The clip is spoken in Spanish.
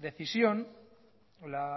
decisión la